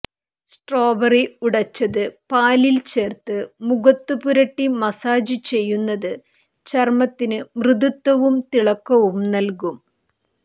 strawberry ഉടച്ചത് പാലില് ചേര്ത്ത് മുഖത്തു പുരട്ടി മസാജ് ചെയ്യുന്നത് ചര്മത്തിന് മൃദുത്വവും തിളക്കവും നല്കും